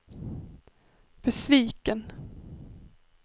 besviken